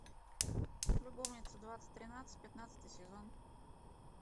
любовница двадцать тринадцать пятнадцатый сезон